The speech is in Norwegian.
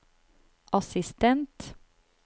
assistent